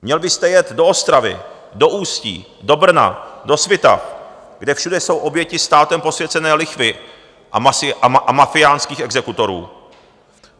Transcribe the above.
Měl byste jet do Ostravy, do Ústí, do Brna, do Svitav, kde všude jsou oběti státem posvěcené lichvy a mafiánských exekutorů.